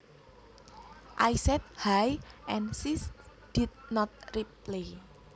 I said hi and she did not reply